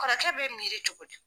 Kɔrɔkɛ bɛ miri cogo di.